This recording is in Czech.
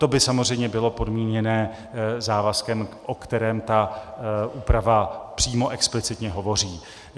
To by samozřejmě bylo podmíněno závazkem, o kterém ta úprava přímo explicitně hovoří.